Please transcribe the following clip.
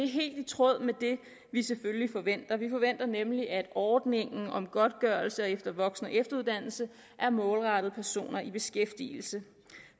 helt i tråd med det vi selvfølgelig forventer vi forventer nemlig at ordningen om godtgørelse ved voksen og efteruddannelse er målrettet personer i beskæftigelse